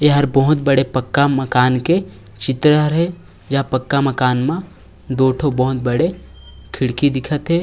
एहर बहुत बड़े पक्का माकन के चित्र हे जहाँ पक्का माकन मा दो ठो बहुत बड़े खिड़की दिखत हे।